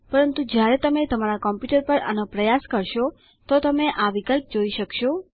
પરંતુ જ્યારે તમે તમારા કમ્પ્યૂટર પર આનો પ્રયાસ કરશો તો તમે આ વિકલ્પ જોઈ શકશો